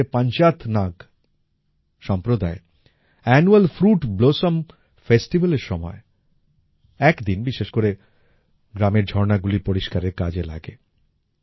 কাশ্মীরের পাঞ্জাথ নাগ সম্প্রদায় annual fruit blossom festival এর সময় একদিন বিশেষ করে গ্রামের ঝর্ণাগুলির পরিষ্কারের কাজে লাগে